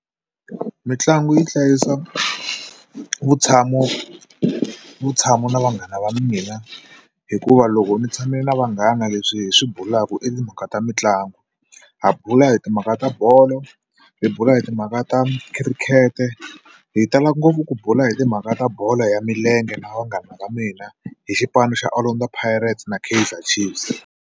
Mitlangu yi hlayisa vutshamo vutshamo na vanghana va mina hikuva loko ndzi tshame na vanghana leswi hi swi bulaku i timhaka ta mitlangu ha bula hi timhaka ta bolo hi bula hi timhaka ta khirikhete hi tala ngopfu ku bula hi timhaka ta bolo ya milenge na vanghana va mina hi xipano xa Orlando Pirates na Kaizer Chiefs.